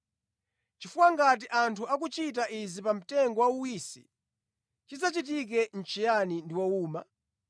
Chifukwa ngati anthu akuchita izi pa mtengo wauwisi, chidzachitike nʼchiyani ndi wowuma?”